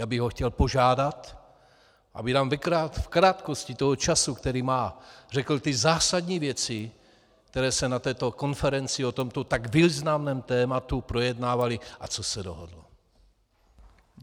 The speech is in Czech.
Já bych ho chtěl požádat, aby nám v krátkosti toho času, který má, řekl ty zásadní věci, které se na této konferenci o tomto tak významném tématu, projednávaly a co se dohodlo.